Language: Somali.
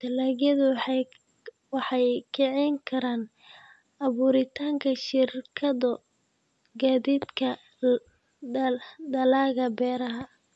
Dalagyadu waxay kicin karaan abuuritaanka shirkado gaadiidka dalagga beeraha.